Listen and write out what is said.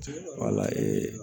Wala